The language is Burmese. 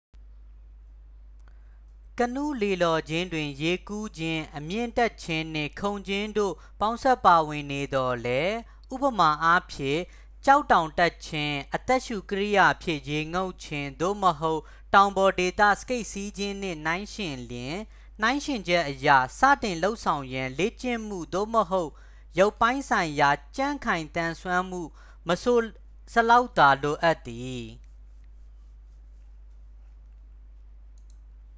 ကနူးလှေလှော်ခြင်းတွင် ရေကူးခြင်း၊ အမြင့်တက်ခြင်းနှင့် ခုန်ခြင်းတို့ ပေါင်းစပ်ပါဝင်နေသော်လည်း ဥပမာအားဖြင့် ကျောက်တောင်တက်ခြင်း၊ အသက်ရှူကိရိယာဖြင့် ရေငုပ်ခြင်း သို့မဟုတ် တောင်ပေါ်ဒေသ စကိတ်စီးခြင်းနှင့် နှိုင်းယှဉ်လျှင် နှိုင်းယှဉ်ချက်အရ စတင်လုပ်ဆောင်ရန် လေ့ကျင့်မှု သို့မဟုတ် ရုပ်ပိုင်းဆိုင်ရာ ကြံ့ခိုင်သန်စွမ်းမှု မဆိုစလောက်သာ လိုအပ်သည်။